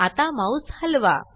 आता माउस हलवा